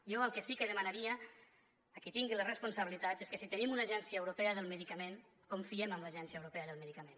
jo el que sí que demanaria a qui tingui les responsabilitats és que si tenim una agència europea del medicament confiem en l’agència europea del medicament